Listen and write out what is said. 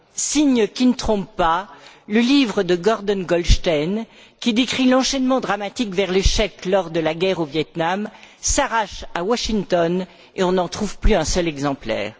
Signe qui ne trompe pas, le livre de Gordon Goldstein, qui décrit l'enchaînement dramatique vers l'échec lors de la guerre au Vietnam, s'arrache à Washington et on n'en trouve plus un seul exemplaire.